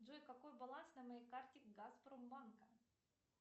джой какой баланс на моей карте газпромбанка